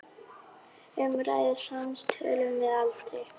Um ræður hans tölum við aldrei.